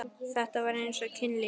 Þetta var eins og kynlíf.